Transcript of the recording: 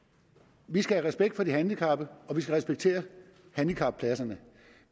vi skal have respekt for de handicappede og vi skal respektere handicappladserne